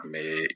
An bɛ